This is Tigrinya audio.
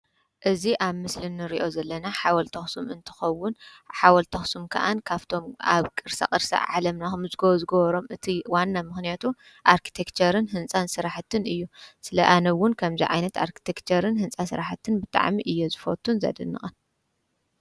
እዚ ኣብ ምስሊ እንሪኦ ዘለና ሓወልቲ ኣክሱም እንትከውን ሓወልቲ ኣክሱም ከዓ ካብቶም ኣብ ቅርሳቅርሲ ዓለምና ክምዝገቡ ዝገበሮም እቲ ዋና ምክንያቱ ኣርቲክቸርን ህንፃ ስራሕትን እዩ። ስለ ኣነዉን ከምዚ ዓይነት ኣርቲክቸርን ህንፃ ስራሕትን ብጣዕሚ እየ ዝፈቱን ዘድንቅን።